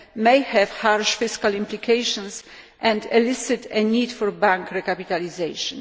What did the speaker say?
may have harsh fiscal implications and elicit a need for bank recapitalisation.